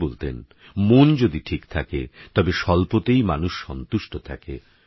তিনিবলতেন মনযদিঠিকথাকেতবেস্বল্পতেইমানুষসন্তুষ্টথাকে